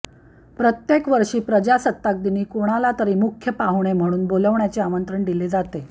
प्रत्येक वर्षी प्रजासत्ताक दिनी कोणालातरी मुख्य पाहुणे म्हणून बोलण्याचे आमंत्रण दिले जाते